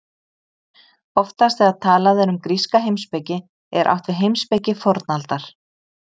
oftast þegar talað er um gríska heimspeki er átt við heimspeki fornaldar